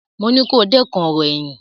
Mo ní kó dẹ́kun ọ̀rọ̀ ẹ̀yìn!